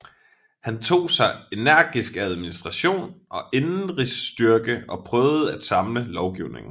Han tog sig energisk af administration og indenrigsstyre og prøvede at samle lovgivningen